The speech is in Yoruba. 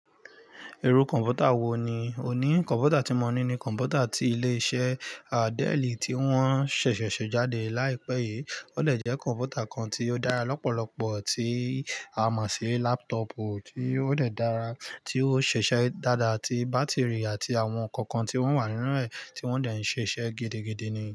Irú kọ̀npútà wò ní o ní? Kọ̀npútà tí mo ní ni kọ̀npútà tí ilé iṣẹ́ del ti wọn ṣẹ̀ ṣẹ̀ ṣe jáde laipẹ́ yìí. Ó dè jẹ́ kọ̀npútà kan tí ó dára lọ́pọ̀lọpọ̀ tí a mo ṣi laptop tí ó dè dára tí ó ṣe ṣẹ́ dáadáa tí bátìrì àti àwọn ǹkan kan tí wọ́n wà nínú ẹ̀ tí wọ́n dẹ̀ ń ṣe iṣẹ́ gidigidi ni.